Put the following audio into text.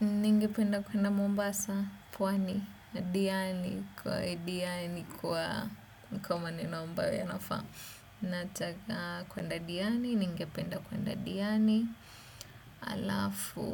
Ningependa kwenda mombasa, puwani, diani, kwa diani, kwa mkoma nina mbawo yanafa. Nataka kwenda diani, ningependa kwenda diani. Alafu,